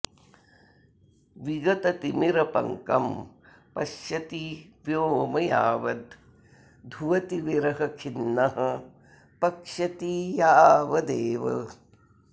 विगततिमिरपङ्गं पश्यति व्योम यावद् धुवति विरहखिन्नः पक्षती यावदेव